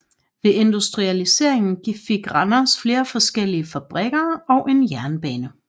Ved industrialiseringen fik Randers flere forskellige fabrikker og en jernbane